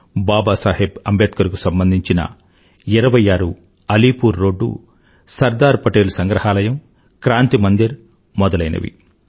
బాబాసాహెబ్ అంబేద్కర్ కు సంబంధించిన 26అలీపూర్ రోడ్డు సర్దార్ పటేల్ సంగ్రహాలయం క్రాంతి మందిర్ మొదలైనవి